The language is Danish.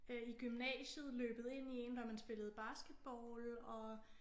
Øh i gymnasiet løbet ind i én når man spillede basketball og